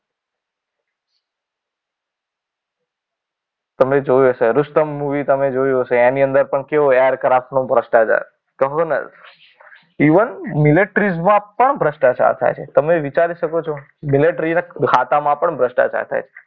તમે જોયું હશે રૂસ્તમ મુવી તમે જોયું હશે. એની અંદર પણ કેવું એરક્રાફ્ટ નો ભ્રષ્ટાચાર. even મિલેટ્રીમાં પણ ભ્રષ્ટાચાર થાય છે. તમે વિચારી શકો છો મિલેટ્રી ના ખાતામાં પણ ભ્રષ્ટાચાર થાય છે.